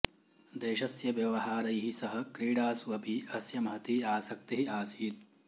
देशस्य व्यवहारैः सह क्रीडासु अपि अस्य महती आसक्तिः आसीत्